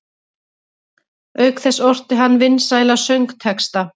Auk þess orti hann vinsæla söngtexta.